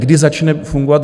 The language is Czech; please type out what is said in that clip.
Kdy začne fungovat?